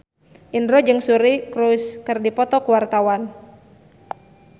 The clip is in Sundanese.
Indro jeung Suri Cruise keur dipoto ku wartawan